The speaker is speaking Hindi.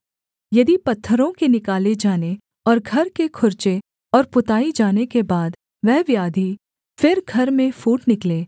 यदि पत्थरों के निकाले जाने और घर के खुरचे और पुताई जाने के बाद वह व्याधि फिर घर में फूट निकले